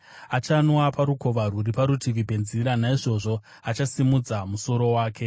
Achanwa parukova rwuri parutivi penzira; naizvozvo achasimudza musoro wake.